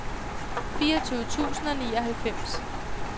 fireogtyve tusind og nioghalvfems